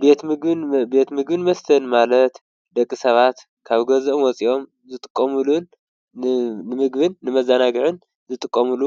ቤት ምግብን መስተን ማለት ደቂ ሰባት ካብ ገዝኦም ወፂኦም ዝጥቀምሉን ንምግብን ንመዘናግዕን ዝጥቀምሉ